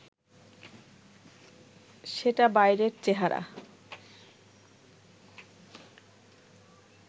সেটা বাইরের চেহারা